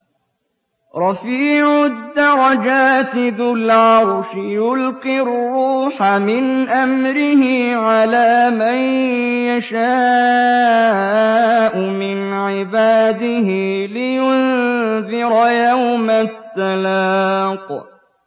رَفِيعُ الدَّرَجَاتِ ذُو الْعَرْشِ يُلْقِي الرُّوحَ مِنْ أَمْرِهِ عَلَىٰ مَن يَشَاءُ مِنْ عِبَادِهِ لِيُنذِرَ يَوْمَ التَّلَاقِ